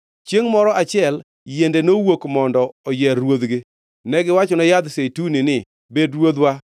Chiengʼ moro achiel yiende nowuok mondo oyier ruodhgi. Negiwachone yadh zeituni ni, ‘Bed ruodhwa.’